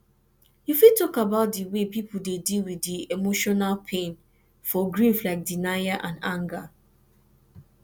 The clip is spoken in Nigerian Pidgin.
you fit talk about di way people dey deal with di emotional pain for grief like denial and anger